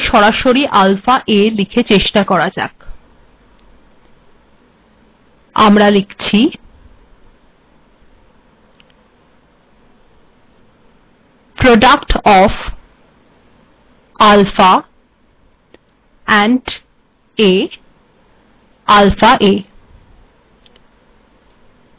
source file সরাসরি alpha a লিখে চেষ্টা করা যাক আমরা লিখছি আলফা এবং a এর গুণফল হল আলফাa